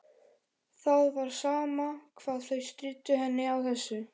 Það var sama hvað þau stríddu henni á þessu.